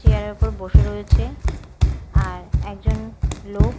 chair -এর ওপর বসে রয়েছে আর একজন লোক--